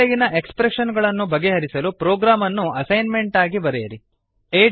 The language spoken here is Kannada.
ಈ ಕೆಳಗಿನ ಎಕ್ಸ್ಪ್ರೆಶನ್ ಗಳನ್ನು ಬಗೆಹರಿಸಲು ಪ್ರೊಗ್ರಾಮ್ ಅನ್ನು ಅಸೈನ್ಮೆಂಟ್ ಆಗಿ ಬರೆಯಿರಿ